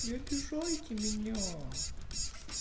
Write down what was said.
не обижайте меня